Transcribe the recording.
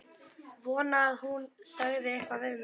Vonaði að hún segði eitthvað við mig.